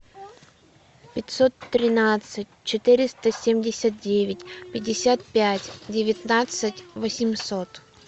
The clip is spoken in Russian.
пятьсот тринадцать четыреста семьдесят девять пятьдесят пять девятнадцать восемьсот